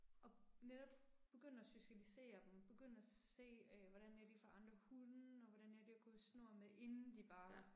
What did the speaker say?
Og netop begynde at socialisere dem, begynde at se øh hvordan er de for andre hunde og hvordan er de at gå i snor med inden de bare